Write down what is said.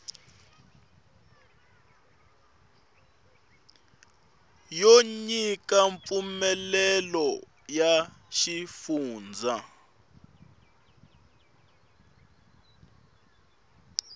yo nyika mpfumelelo ya xifundza